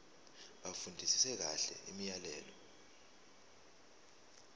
bafundisise kahle imiyalelo